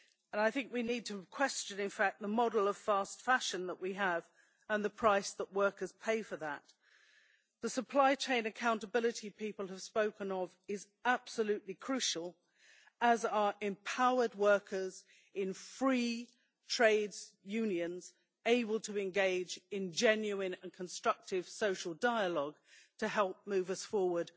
I think we need to question, in fact, the model of fast fashion that we have, and the price that workers pay for that. The supply chain accountability people have spoken of is absolutely crucial, as are empowered workers in free trade unions, able to engage in genuine and constructive social dialogue to help move us forward